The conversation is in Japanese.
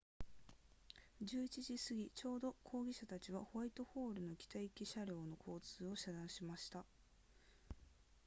11時すぎちょうどに抗議者たちはホワイトホールの北行き車両の交通を遮断しました